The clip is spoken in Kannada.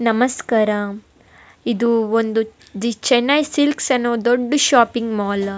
ನಮಸ್ಕಾರ ಇದು ಒಂದು ದಿ ಚನಲ್ ಸ್ಕಿಲ್ಲ್ಸ್ ಅನ್ನೊ ದೊಡ್ಡ್ ಶಾಪಿಂಗ್ ಮಾಲ್ .